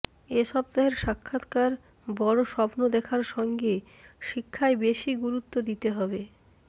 এ সপ্তাহের সাক্ষাৎকার বড় স্বপ্ন দেখার সঙ্গে শিক্ষায় বেশি গুরুত্ব দিতে হবে